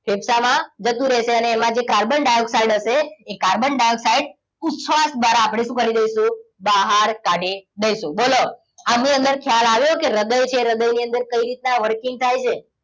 ફેફસામાં જતું રહેશે અને એમાં જે કાર્બન ડાયોક્સાઇડ હશે એ કાર્બન ડાયોક્સાઇડ ઉચ્છવાસ દ્વારા આપણે શું કરી દઈશું બહાર કાઢી દઈશું બોલો આની અંદર ખ્યાલ આવ્યો કે હૃદય છે કઈ હૃદય ની અંદર કઈ રીતના working થાય છે